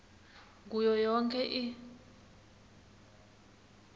kuyo yonkhe i